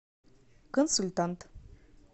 консультант